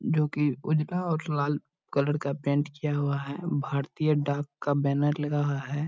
जो की उजला और लाल कलर का पेंट किया हुआ है | भारतीय डाँक का बैनर लगा हुआ है |